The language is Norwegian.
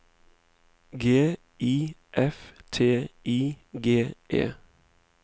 G I F T I G E